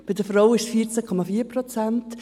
bei den Frauen sind es 14,4 Prozent.